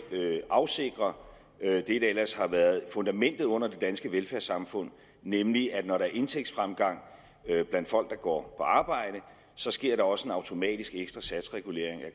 afsikrer det der ellers har været fundamentet under det danske velfærdssamfund nemlig det at når der er indtægtsfremgang blandt folk der går på arbejde sker der også en automatisk ekstra satsregulering af